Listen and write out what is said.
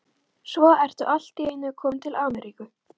Svo ertu allt í einu kominn til Ameríku!